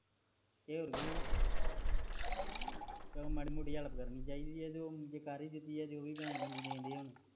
ਤੇ ਹੋਰ ਕਿ ਸਗੋਂ ਮਾੜੀ ਮੋਟੀ help ਕਰਨੀ ਚਾਹੀਦੀ ਆ ਜ ਕਰ ਹੀ ਦਿਤੀ